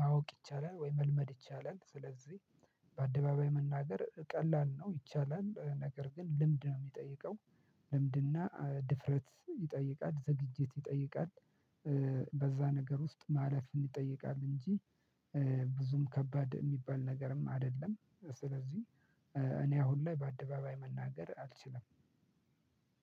ማወቅ ይቻላል። ወይ መልመድ ይቻላል። ስለዚህ በአደባባይ መናገር ቀላል ነው ይቻላል። ነገር ግን ልምድ ነው የሚጠይቀው ልምድና ድፍረት ይጠይቃል። ዝግጅት ይጠይቃል። በዛ ነገር ውስጥ ማለፍን ይጠይቃል። እንጂ ብዙም ከባድ የሚባል ነገርም አይደለም። ስለዚህ እኔ አሁን ላይ በአደባባይ መናገር አልችልም።